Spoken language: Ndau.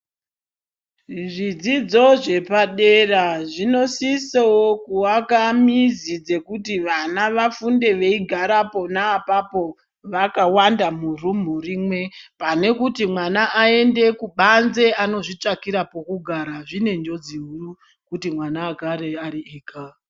Zvidzidzo zvepadera zvinosisowo kuvaka mizi dzekuti vana vafunde veigara oona apapo vakawanda murumu rimwe pane kuti mwana aende kubanze anozvitsvakira pokugara zvine njodzo huru kuti mwana agre ariega.